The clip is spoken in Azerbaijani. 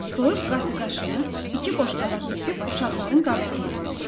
Soyuq qatıq aşını iki boşqaba töküb uşaqların qabağına qoydu.